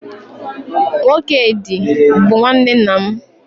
Nwokedị bụ nwanne nna m